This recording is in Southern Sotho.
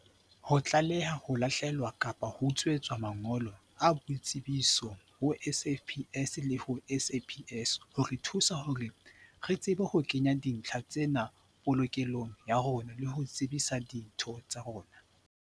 "Ho tlaleha ho lahlehelwa kapa ho utswetswa mangolo a boitsebiso ho SAFPS le ho SAPS ho re thusa hore re tsebe ho kenya dintlha tsena polokelong ya rona le ho tsebisa ditho tsa rona."